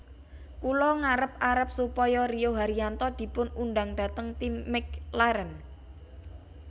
Kula ngarep arep supaya Rio Haryanto dipun undang dhateng tim McLaren